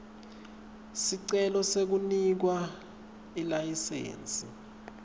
sicelo sekunikwa ilayisensi